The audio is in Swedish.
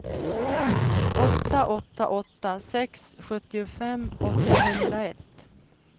åtta åtta åtta sex sjuttiofem åttahundraett